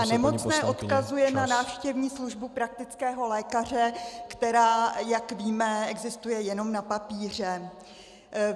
A nemocné odkazuje na návštěvní službu praktického lékaře, která, jak víme, existuje jen na papíře.